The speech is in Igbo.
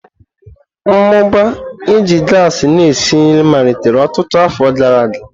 Mmụba iji gasi na-esi nri malitere ọtụtụ afọ gara aga.